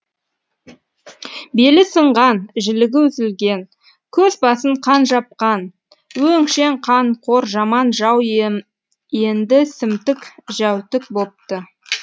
белі сынған жілігі үзілген көз басын қан жапқан өңшең қанқор жаман жау енді сімтік жәутік бопты